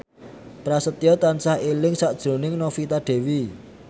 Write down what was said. Prasetyo tansah eling sakjroning Novita Dewi